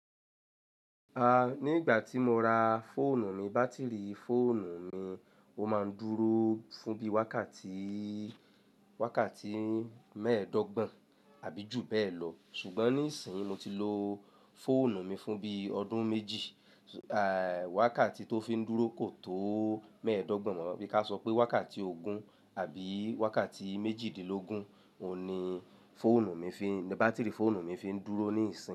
A, ní ìgbà tí mo ra fóònù mi, bátìrì fóònù mi ó máa ń dúró fún bí wákàtí, wákàtí mẹ́ẹ̀ẹ́dọ́gbọ̀n àbí jù bẹ́ẹ̀ lọ. Ṣùgbọ́n nísìínyi mó ti lo fóònù mi fún bí ọdún méjì, a, wákàtí tó fi ń dúró kò tó mẹ́ẹ̀ẹ́dọ́gbọ̀n mọ, bí ka sọ pé wákàtí ogún àbí wákàtí méjìdínlógún òun ní fóònù mi fi ń, bátìrì fóònù mi fi ń dúró nísìínyi.